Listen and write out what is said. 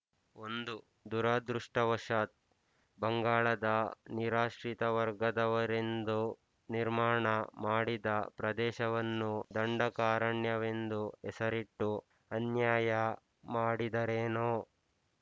ಒಂದು ದುರದೃಷ್ಟವಶಾತ್ ಬಂಗಾಳದ ನಿರಾಶ್ರಿತವರ್ಗದವರೆಂದು ನಿರ್ಮಾಣ ಮಾಡಿದ ಪ್ರದೇಶವನ್ನು ದಂಡಕಾರಣ್ಯವೆಂದು ಹೆಸರಿಟ್ಟು ಅನ್ಯಾಯ ಮಾಡಿದರೇನೊ